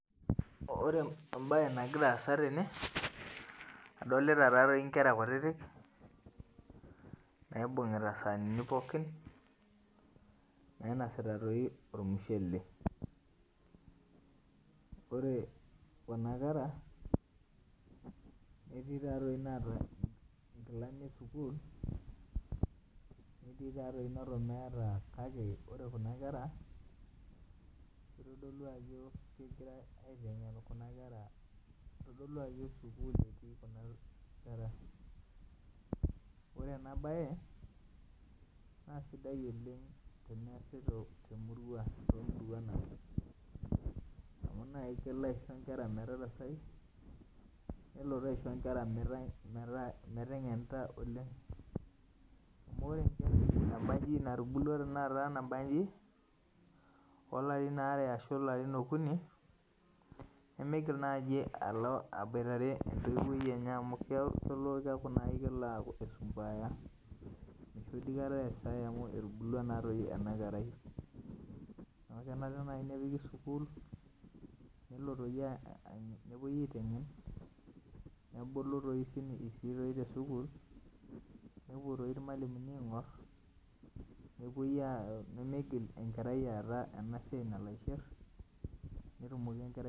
Ore ebae nagira aasa tene adolita taadoi inkera kutitik naibungita isanini pookin nainosita doii ormushele. Ore kuna kera etii taa doii naata inkilani esukul netii neton meeta kake ore kuna kera itodulu ajo kegirai aiteng'en kitodolu aji sukul etii kuna kera. Ore ena bae sidai oleng' tenayasi te murua too muruan ang' amu naji kelo aisho inkera metarasai nelotu aisho inkera meteng'enita oleng' amu enkerai nabaji natubulu sai nabajin olarin ware ashu okuni nemigil naji alo aboitare entoiwoi enye amu keku kelo anji kelo aisumbuarisho. Kikash tenakata amu etubulua naa ena kerai neeeku kelo naji ake nepiki sukul nelo doi nepuoi aiteng'en nebulu sii te sukul nepuo toi irmalimuni ang'or nemeigil enkerai aata ena siai nalo aishir netumoki enkerai.